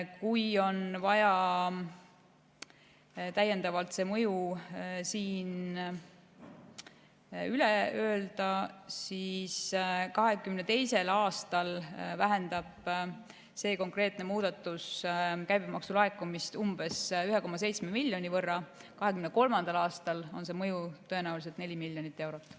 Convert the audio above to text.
Kui on vaja, siis võin selle mõju siin üle öelda: 2022. aastal vähendab see konkreetne muudatus käibemaksu laekumist umbes 1,7 miljoni euro võrra ja 2023. aastal on mõju tõenäoliselt 4 miljonit eurot.